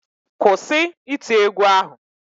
Kwụsị iti égwú ahụ!